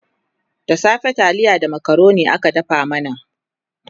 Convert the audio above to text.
da safe taliya da macaroni aka dafa mana